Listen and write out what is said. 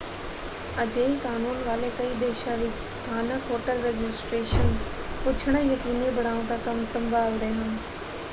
ਅਜਿਹੇ ਕਾਨੂੰਨ ਵਾਲੇ ਕਈ ਦੇਸ਼ਾਂ ਵਿੱਚ ਸਥਾਨਕ ਹੋਟਲ ਰਜਿਸਟ੍ਰੇਸ਼ਨ ਪੁੱਛਣਾ ਯਕੀਨੀ ਬਣਾਓ ਦਾ ਕੰਮ ਸੰਭਾਲਦੇ ਹਨ।